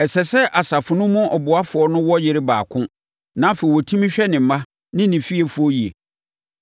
Ɛsɛ sɛ asafo no mu ɔboafoɔ no wɔ yere baako na afei ɔtumi hwɛ ne mma ne ne fiefoɔ yie.